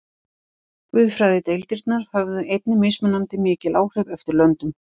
Guðfræðideildirnar höfðu einnig mismunandi mikil áhrif eftir löndum.